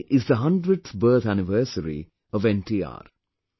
Today, is the 100th birth anniversary of NTR